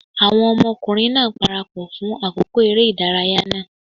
Àwọn ọmọkùnrin náà parapọ̀ fún àkókò eré ìdárayá náà.